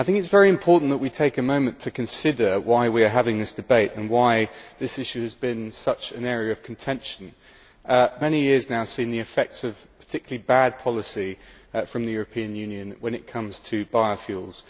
I think it is very important that we take a moment to consider why we are having this debate and why this issue has been such an area of contention, because we have for many years now seen the effects of particularly bad policy from the European Union when it comes to biofuels.